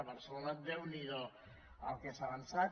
a barcelona déu n’hi do el que s’ha avançat